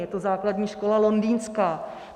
Je to Základní škola Londýnská.